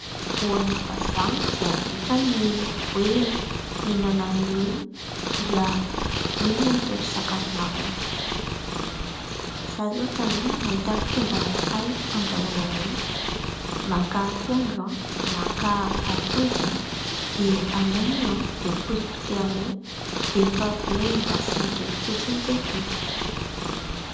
Ho an'ny vazaha dia vitany ny hoe : minana an'io dia io no atao sakafo maraina. Zaho zao tamin'iny nahita fomba anankiray ahandrahona an'io ; maka akondro, maka atody dia alaina io dia potipotehina eo dia rehefa avy eo endasina kely fotsiny dia vita.